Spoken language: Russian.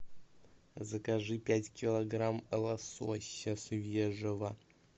закажи пять килограмм лосося свежего